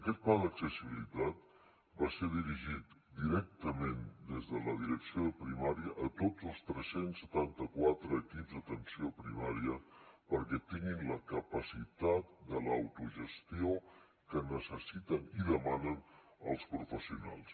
aquest pla d’accessibilitat va ser dirigit directament des de la direcció de primària a tots els tres cents i setanta quatre equips d’atenció primària perquè tinguin la capacitat de l’autogestió que necessiten i demanen els professionals